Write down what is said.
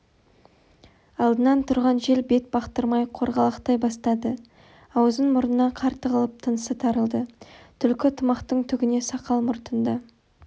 алдынан тұрған жел бет бақтырмай қорғалақтай бастады аузы-мұрнына қар тығылып тынысы тарылды түлкі тымақтың түгіне сақал-мұртында